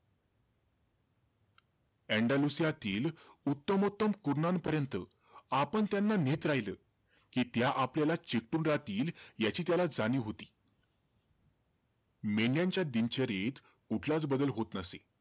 एण्डलुसियातील उत्तमोत्तम कुरणांपर्यंत आपण त्यांना नेत राहीलं, कि त्या आपल्याला चिटकून राहतील, याची त्याला जाणीव होती. मेंढ्यांच्या दिनचर्येत कुठलाचं बदल होत नसे.